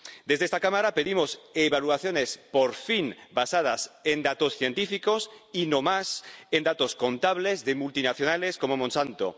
Desde esta Cámara pedimos evaluaciones —por fin— basadas en datos científicos y no en datos contables de multinacionales como Monsanto.